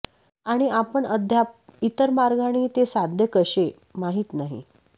आणि आपण अद्याप इतर मार्गांनी ते साध्य कसे माहीत नाही